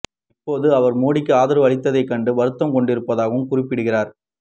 இப்போது அவர் மோடிக்கு ஆதரவு அளித்ததைக் கண்டு வருத்தம் கொண்டிருப்பதாகவும் குறிப்பிடுகிறார்